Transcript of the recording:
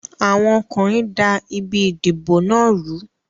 Àwọn ọkùnrin da ibi ìdìbò náà rú.